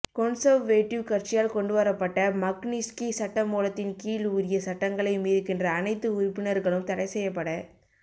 Conservative கட்சியால் கொண்டுவரப்பட்ட Magnitsky சட்டமூலத்தின் கீழ் உரிய சட்டங்களை மீறுகின்ற அனைத்து உறுப்பினர்களும் தடைசெய்யப்பட